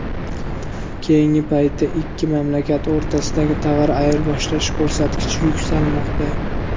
Keyingi paytda ikki mamlakat o‘rtasidagi tovar ayirboshlash ko‘rsatkichi yuksalmoqda.